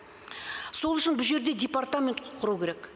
сол үшін бұ жерде департамент құру керек